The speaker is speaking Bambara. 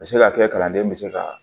A bɛ se ka kɛ kalanden bɛ se ka